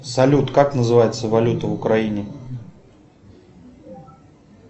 салют как называется валюта в украине